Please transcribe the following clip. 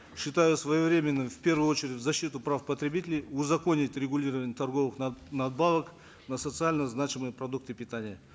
считаю своевременным в первую очередь в защиту прав потребителей узаконить регулирование торговых надбавок на социально значимые продукты питания